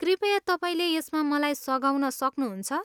कृपया तपाईँले यसमा मलाई सघाउन सक्नुहुन्छ?